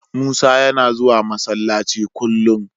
Musa yana zuwa Masallaci kullum.